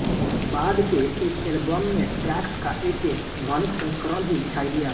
बाद के एक एलबम में ट्रैक्स का एक ध्वनिक संस्करण भी दिखाई दिया